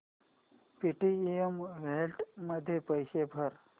Paytm wallet मध्ये पैसे भर